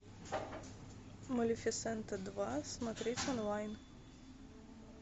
малифисента два смотреть онлайн